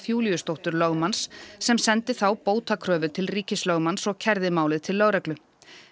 Júlíusdóttur lögmanns sem sendi þá bótakröfu til ríkislögmanns og kærði málið til lögreglu